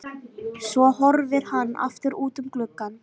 Svo horfir hann aftur út um gluggann.